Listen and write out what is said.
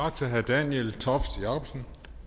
tak til herre daniel toft jakobsen